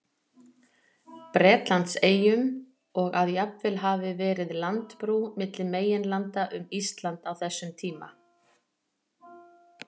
Bretlandseyjum, og að jafnvel hafi verið landbrú milli meginlanda um Ísland á þessum tíma.